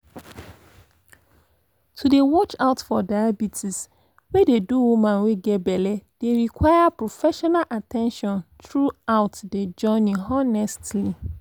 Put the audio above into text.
to dey watch out for diabetes wey dey do woman wey get belle dey require professional at ten tion throughout de journey honestly